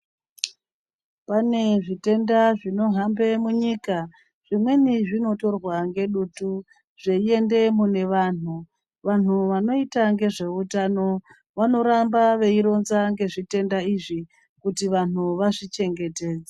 Pane zvitenda zvinohambe munyika. Zvimweni zvinotorwa ngedutu zveiende mune vanhu...Vanhu vanoita nezve utano vanoramba veironza ngezve zvitenda izvi kuti vanhu vazvi chengetedze